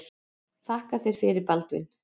Þakka þér fyrir Baldvin.